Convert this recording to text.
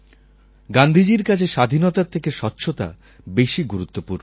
গান্ধীজীর কাছে স্বাধীনতার থেকে স্বচ্ছতা বেশি গুরুত্বপূর্ণ ছিল